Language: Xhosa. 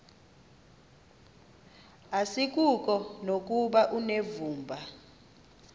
asikuko nokuba unevumba